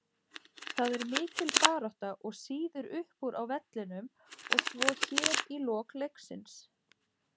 Það er mikil barátta og sýður uppúr á vellinum og svo hér í lok leiksins.